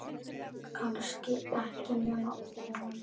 Kannski ekki nema von.